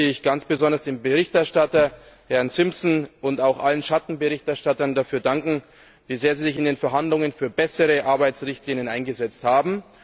Deshalb möchte ich ganz besonders dem Berichterstatter, Herrn Simpson, und auch allen Schattenberichterstattern dafür danken, dass sie sich in den Verhandlungen sehr für bessere Arbeitsrichtlinien eingesetzt haben.